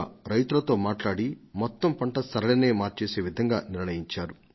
have Bazar లో వ్యవసాయదారులు పంటలు విత్తే రీతిని మార్చి అ సమస్యను పరిష్కరించారు